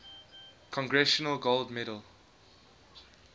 congressional gold medal